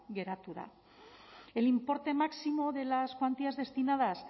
geratu da el importe máximo de las cuantías destinadas